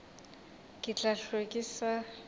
ke tla hlwe ke sa